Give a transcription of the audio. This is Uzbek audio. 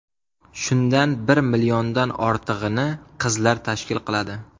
Shundan bir milliondan ortig‘ini qizlar tashkil qiladi.